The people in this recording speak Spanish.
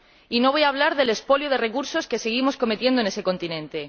Y no voy a hablar del expolio de recursos que seguimos cometiendo en ese continente.